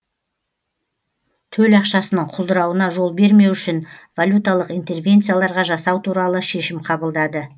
төл ақшасының құлдырауына жол бермеу үшін валюталық интервенцияларға жасау туралы шешім қабылдады